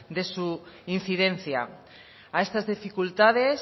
de su incidencia a estas dificultades